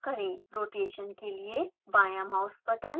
rotation के लिए बायाँ माउस बटन